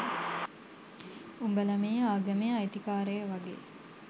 උඹලා මේ ආගමේ අයිතිකාරයො වගේ.